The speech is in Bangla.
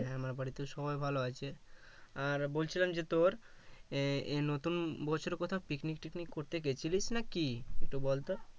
হ্যাঁ আমার বাড়িতে সবাই ভালো আছে আর বলছিলাম যে তোর এ-ই নতুন বছরে কোথাও picnic টিকনিক করতে গিয়েছিলিস নাকি একটু বলতো